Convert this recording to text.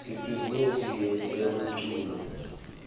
ibhizimisi yetemculo